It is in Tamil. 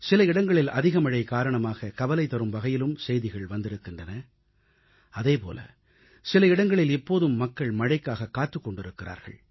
சில இடங்களில் அதிகமழை காரணமாக கவலைதரும் வகையிலும் செய்திகள் வந்திருக்கின்றன அதேபோல சில இடங்களில் இப்போதும் மக்கள் மழைக்காக காத்துக் கொண்டிருக்கிறார்கள்